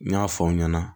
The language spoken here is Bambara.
N y'a fɔ aw ɲɛna